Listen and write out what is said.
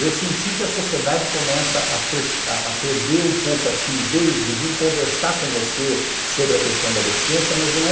Eu senti que a sociedade começa a perder um pouco a timidez de vir conversar com você sobre a questão da deficiência, mas não é.